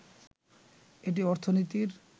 এটি অর্থনীতির